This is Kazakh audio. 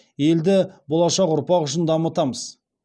елді болашақ ұрпақ үшін дамытамыз